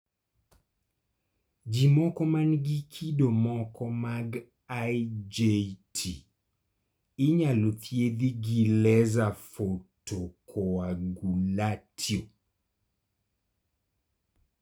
jii moko man gi kido moko mag IJT inyalo thiedhi gi Laser photocoagulatio